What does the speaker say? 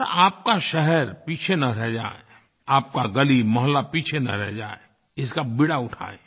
और आपका शहर पीछे न रह जाए आपका गलीमोहल्ला पीछे न रह जाए इसका बीड़ा उठाएं